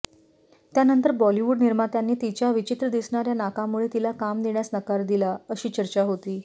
त्यानंतर बॉलिवूड निर्मात्यांनी तिच्या विचित्र दिसणाऱ्या नाकामुळे तिला काम देण्यास नकार दिला अशी चर्चा होती